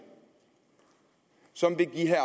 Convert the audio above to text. som vil give herre